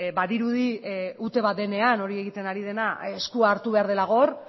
badirudi ute bat denean hori egiten ari dena eskua hartu behar dela gor